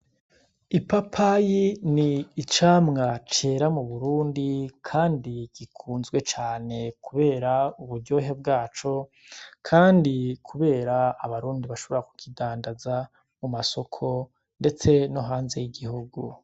I papayi ni icamwa cera mu burundi, kandi gikunzwe cane, kubera uburyohe bwaco, kandi, kubera abarundi bashobora ku kidandaza mu masoko, ndetse no hanze y'igihugu.